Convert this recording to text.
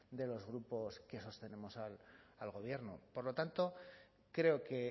de los grupos que sostenemos al gobierno por lo tanto creo que